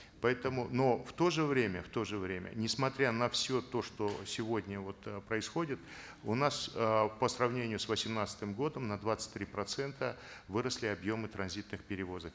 поэтому но в то же время в то же время несмотря на все то что сегодня вот э происходит у нас э по сравнению с восемнадцатым годом на двадцать три процента выросли объемы транзитных перевозок